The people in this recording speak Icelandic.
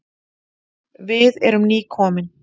Við erum nýkomin.